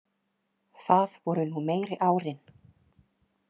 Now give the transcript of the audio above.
Það voru nú meiri árin.